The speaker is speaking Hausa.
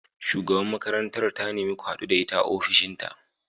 Shugabar makarantar ta nemi ku hadu da ita a ofishinta.